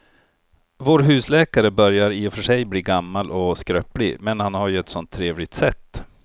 Vår husläkare börjar i och för sig bli gammal och skröplig, men han har ju ett sådant trevligt sätt!